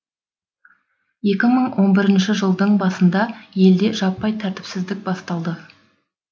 екі мың он бірінші жылдың басында елде жаппай тәртіпсіздік басталды